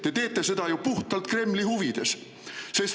Te teete seda ju puhtalt Kremli huvides.